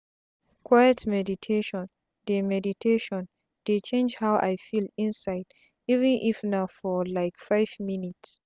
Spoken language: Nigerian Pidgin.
quiet meditation dey meditation dey change how i feel inside even if na for like five minutes